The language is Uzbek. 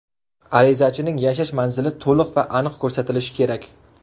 Arizachining yashash manzili to‘liq va aniq ko‘rsatilishi kerak.